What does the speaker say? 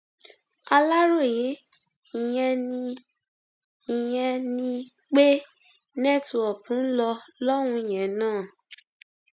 aláròye ìyẹn ni ìyẹn ni pé network ń lọ lọhùnún yẹn náà